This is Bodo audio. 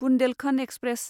बुन्देलखन्द एक्सप्रेस